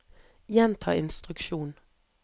gjenta instruksjon